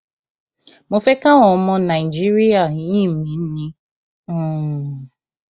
mo fẹ káwọn ọmọ nàìjíríà yìn mí ni um